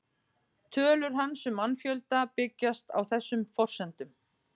Tölur hans um mannfjölda byggjast á þessum forsendum.